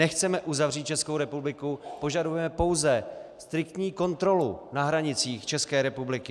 Nechceme uzavřít Českou republiku, požadujeme pouze striktní kontrolu na hranicích České republiky.